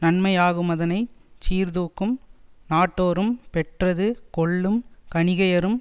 நன்மையாகுமதனை சீர்தூக்கும் நட்டோரும் பெற்றது கொள்ளும் கணிகையரும்